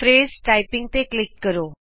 ਲ਼ਫ਼ਜ਼ typing ਤੇ click ਕਰੋ